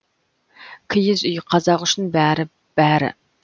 киіз үй қазақ үшін бәрі бәрі